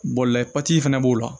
Bɔlɔlɔ fana b'o la